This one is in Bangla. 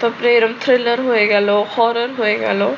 তো এরম thriller হয়ে গেলো, horror হয়ে গেলো